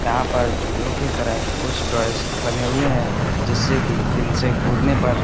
यहाँ पर झूलो की तरह कुछ टॉयस बने हुए हैं जिससे कि इनसे कूदने पर--